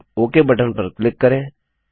अब okay button पर click करें